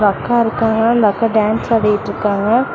அக்கா இருக்காங்க இந்த அக்கா டேன்ஸ் ஆடிட்ருக்காங்க.